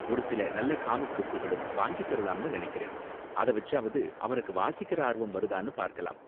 ஒரு சில நல்ல காமிக் புக்குகளும் வாங்கித்தரலாம்னு நினைக்கறேன், அத வெச்சாவது அவனுக்கு வாசிக்குற ஆர்வம் வருதானு பார்க்கலாம்.